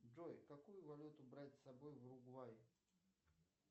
джой какую валюту брать с собой в уругвай